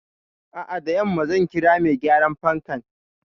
A'a, da yamma zan kira mai gyaran fankan.